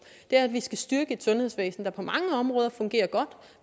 er at vi skal styrke et sundhedsvæsen der på mange områder fungerer godt